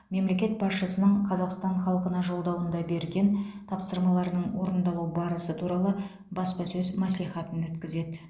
мемлекет басшысының қазақстан халқына жолдауында берген тапсырмаларының орындалу барысы туралы баспасөз мәслихатын өткізеді